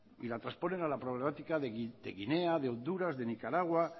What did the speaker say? y la trasponen a la problemática de guinea de honduras de nicaragua